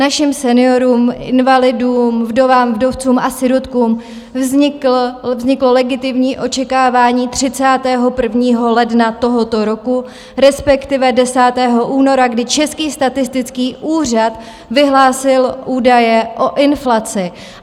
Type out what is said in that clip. Našim seniorům, invalidům, vdovám, vdovcům a sirotkům vzniklo legitimní očekávání 31. ledna tohoto roku, respektive 10. února, kdy Český statistický úřad vyhlásil údaje o inflaci.